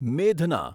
મેઘના